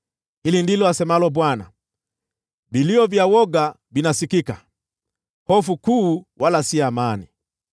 “Hili ndilo asemalo Bwana :“ ‘Vilio vya woga vinasikika: hofu kuu, wala si amani.